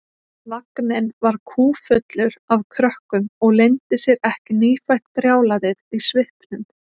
Vagninn var kúffullur af krökkum og leyndi sér ekki nýfætt brjálæðið í svipnum.